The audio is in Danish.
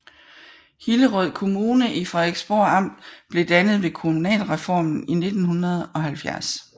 Hillerød Kommune i Frederiksborg Amt blev dannet ved kommunalreformen i 1970